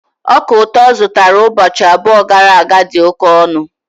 Ọka ụtọ ọ zụtara ụbọchị abụọ gara aga dị oke ọnụ